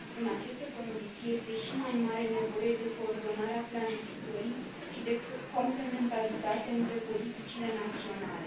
În aceste condiții, este și mai mare nevoie de coordonarea planificării și de complementaritate între politicile naționale.